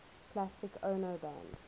plastic ono band